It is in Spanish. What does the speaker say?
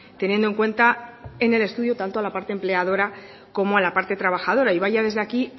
teniendo en cuenta en el estudio tanto la parte empleadora como la parte trabajadora y vaya desde aquí